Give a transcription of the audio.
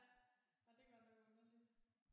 Ja nej det er godt nok underligt